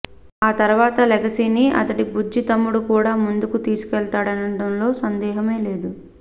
ఆ తర్వాత ఆ లెగసీని అతడి బుజ్జి తమ్ముడు కూడా ముందుకు తీసుకెళతాడనడంలో సందేహమే లేదు